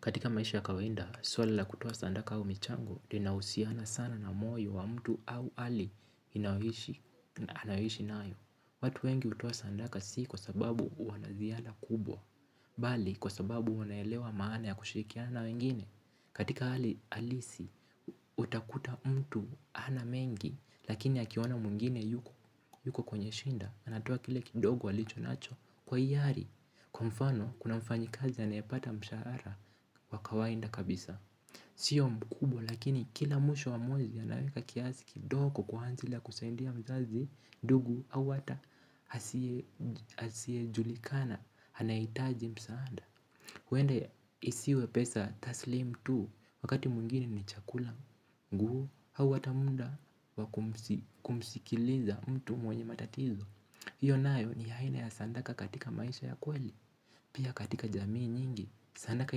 Katika maisha ya kawaida, swala la kutoa sandaka au michango, linahusiana sana na moyo wa mtu au hali anayoishi nayo. Watu wengi hutoa sandaka si kwa sababu wanaziada kubwa, bali kwa sababu wanaelewa maana ya kushirikiana na wengine. Katika hali halisi utakuta mtu hana mengi lakini akiona mwingine yuko kwenye shida atatoa kile kidogo alicho nacho kwa hiari. Kwa mfano, kuna mfanyi kazi ya anayepata mshahara wa kawaida kabisa. Sio mkubwa lakini kila mwisho wa mwezi anaweka kiasi kidogo kwa ajili ya kusaidia mzazi ndugu au hata asiyejulikana, anahitaji msaada. Huenda isiwe pesa taslimu tu wakati mwingine ni chakula. Nguo au hata muda wa kumsikiliza mtu mwenye matatizo hiyo nayo ni aina ya sadaka katika maisha ya kweli. Pia katika jamii nyingi, sadaka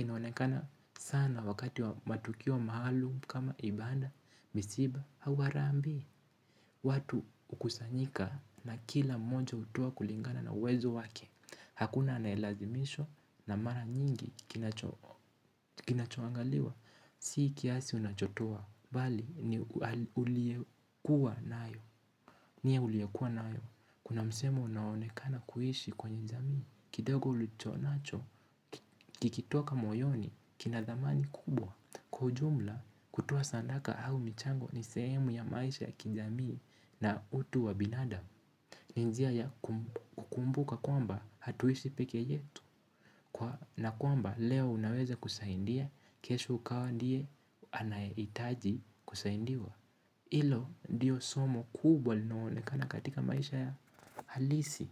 inaonekana sana wakati wa matukio mahali kama ibada, misiba, au harambee. Watu hukusanyika na kila mmoja hutoa kulingana na uwezo wake. Hakuna anayelazimishwa na mara nyingi kinachoangaliwa si kiasi unachotoa, bali ni uliyekuwa nayo. Nia uliyekuwa nayo, kuna msemo unaonekana kuishi kwenye jamii. Kidogo ulicho nacho, kikitoka moyoni, kina dhamani kubwa. Kwa ujumla kutoa sadaka au michango ni sehemu ya maisha ya kijamii na utu wa binadamu. Ni njia ya kukumbuka kwamba hatuishi pekee yetu na kwamba leo unaweza kusaidia, kesho ukawa ndiye anayehitaji kusaindia hilo ndiyo somo kubwa linaloonekana katika maisha ya halisi.